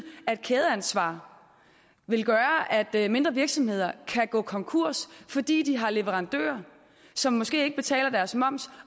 at kædeansvar vil gøre at mindre virksomheder kan gå konkurs fordi de har leverandører som måske ikke betaler deres moms